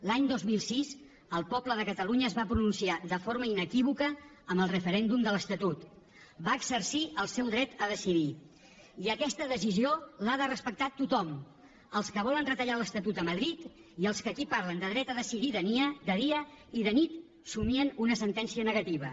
l’any dos mil sis el poble de catalunya es va pronunciar de forma inequívoca en el referèndum de l’estatut va exercir el seu dret a decidir i aquesta decisió l’ha de respectar tothom els que volen retallar l’estatut a madrid i els que aquí parlen de dret a decidir de dia i de nit somien una sentència negativa